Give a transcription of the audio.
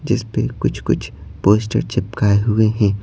जिस पे कुछ-कुछ पोस्टर चिपकाए हुए हैं।